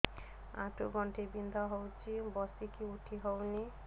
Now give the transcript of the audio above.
ଆଣ୍ଠୁ ଗଣ୍ଠି ବିନ୍ଧା ହଉଚି ବସିକି ଉଠି ହଉନି